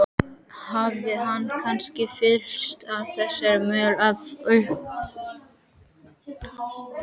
Hafði hann kannski fyllst af þessari möl eða þornað upp?